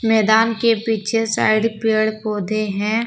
मैदान के पीछे साइड पेड़ पौधे हैं।